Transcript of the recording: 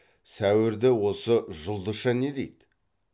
сәуірді осы жұлдызша не дейді